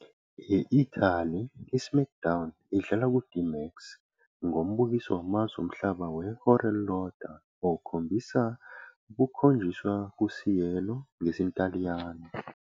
E- Italy, "iSmackDown" idlala ku- DMAX, ngombukiso wamazwe omhlaba wehora elilodwa okhombisa ukukhonjiswa kuCielo ngesiNtaliyane.